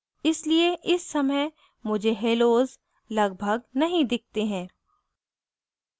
इसलिए इस समय मुझे हेलोज़ लगभग नहीं दिखते हैं